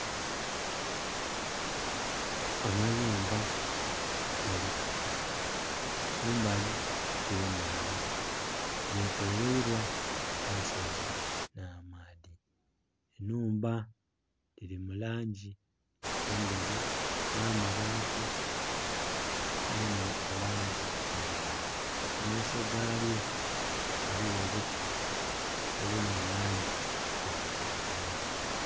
Amayumba gali kumbali okw'enandha getolweirwa ensozi nha maadhi, enhumba dhili mu langi endheru nh'amabaati gona mu langi endheru mu maiso galyo ghaligho obuti obuli mu langi eya kiragala.